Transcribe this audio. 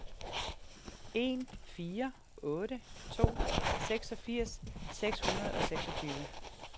en fire otte to seksogfirs seks hundrede og seksogtyve